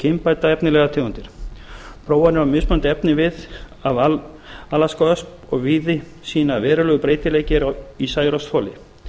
kynbæta efnilegar tegundir prófanir á mismunandi efnivið af alaskaösp og víði sýna að verulegur breytileiki er í særoksþoli